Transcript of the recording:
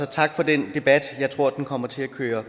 tak for den debat jeg tror at den kommer til at køre